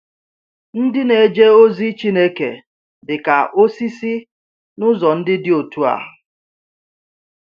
Ndị na-eje ozi Chineke dị ka osisi — n’ụzọ ndị dị otú a?